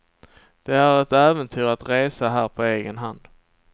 Det är ett äventyr att resa här på egen hand.